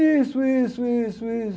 Isso, isso, isso, isso.